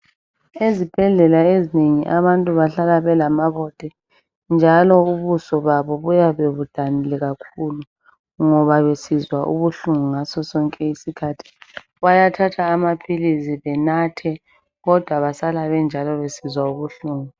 Ezibhedlela ezinengi abantu bahlala belamabote njalo ubuso babo buyabe budanile kakhulu ngoba besizwa ubuhlungu ngaso sonke isikhathi bayathatha amapilisi benathe kodwa basala benjalo besizwa ubuhlungu